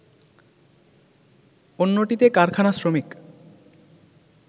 অন্যটিতে কারখানা শ্রমিক